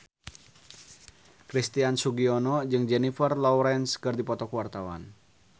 Christian Sugiono jeung Jennifer Lawrence keur dipoto ku wartawan